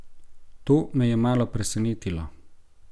To me je malo presenetilo.